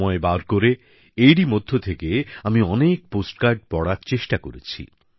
সময় বার করে এরই মধ্য থেকে আমি অনেক পোস্টকার্ড পড়ার চেষ্টা করেছি